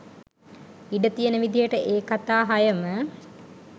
ඉඩ තියෙන විදිහට ඒ කතා හයම